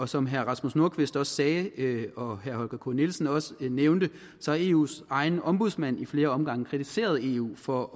som herre rasmus nordqvist sagde og herre holger k nielsen også nævnte har eus egen ombudsmand i flere omgange kritiseret eu for